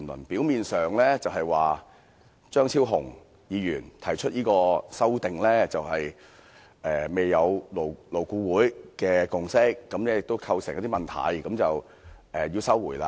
表面上的理由是張超雄議員提出的修正案在勞工顧問委員會未有共識，亦構成一些問題，所以要撤回《條例草案》。